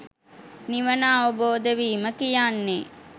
නිවන අවබෝධ වීම කියන්නේ